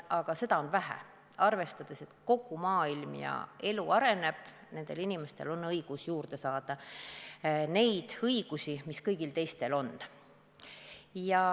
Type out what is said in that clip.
Aga seda on vähe, arvestades, et kogu maailm ja elu areneb, nendel inimestel on õigus saada neid õigusi, mis kõigil teistelgi on.